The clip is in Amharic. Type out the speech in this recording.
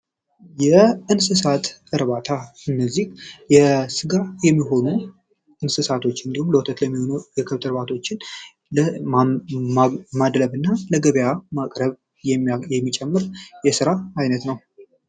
የእንስሳት እርባታ እነዚህ የስጋ የሚሆኑ እንስሳቶች እንዲሁም ለወተት ለሚሆኑ የክብት እርባቶችን ማድለብ እና ለገበያ ማቅረብ የሚጨምር የሥራ አይነት ነው።